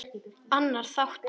Annar þáttur